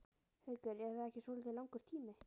Haukur: Er það ekki svolítið langur tími?